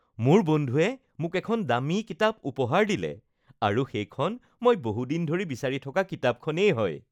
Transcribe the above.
মোৰ বন্ধুৱে মোক এখন দামী কিতাপ উপহাৰ দিলে আৰু সেইখন মই বহু দিন ধৰি বিচাৰি থকা কিতাপখনেই হয়